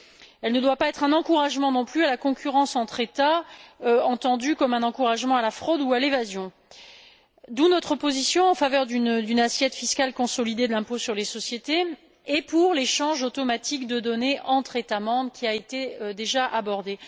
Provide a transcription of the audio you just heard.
Elle ne doit pas être non plus un encouragement à la concurrence entre États, entendu comme un encouragement à la fraude ou à l'évasion, d'où notre position en faveur d'une assiette fiscale consolidée de l'impôt sur les sociétés et de l'échange automatique de données entre États membres, qui a déjà été abordé.